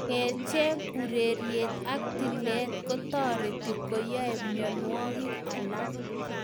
Kerchek, ureriet ak tilet kotariti konyai miondwogik alak